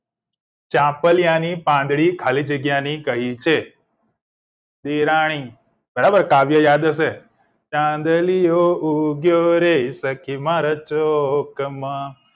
ચામ્પલીયા ની પાંદડી ખાલી જગ્યા ને કહી છે દેરાણી બરાબર કાવ્ય યાદ હશે ચાંદલિયો ઉગ્યો રે સખી મારા ચોક માં